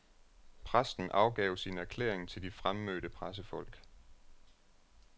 Præsten afgav sin erklæring til de fremmødte pressefolk.